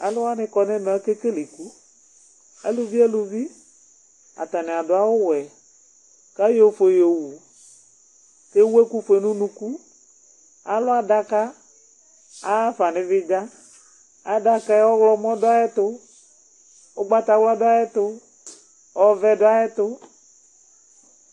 Alu wʋani kɔ nu ɛmɛ akekele iku, aluvi eluvi ata ni adu awu wɛ, ku ayɔ ofue yo wu, ku ewu ɛku fue nu unuku, alu adaka, aya ɣafa nu ifidza, adaka yɛ ɔwlɔmɔ du ayɛtu, ugbata wla du ayɛtu, ɔvɛ du ayɛtu